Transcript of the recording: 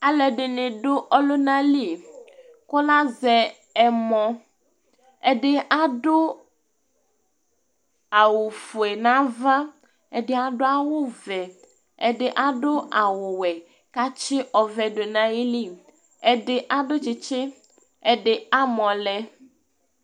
Alʋɛdɩnɩ dʋ ɔlʋna li kʋ azɛ ɛmɔ Ɛdɩ adʋ awʋfue nʋ ava, ɛdɩ adʋ awʋvɛ, ɛdɩ adʋ awʋwɛ kʋ atsɩ ɔvɛ dʋ nʋ ayili, ɛdɩ adʋ tsɩtsɩ, ɛdɩ amɔ lɛ